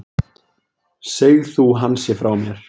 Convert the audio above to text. Seg þú hann sé frá mér.